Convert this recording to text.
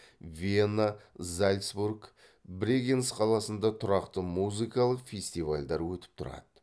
вена зальцбург брегенц қаласында тұрақты музыкалық фестивальдар өтіп тұрады